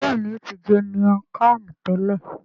Béèni o ti jẹ miang Kham tẹlẹ.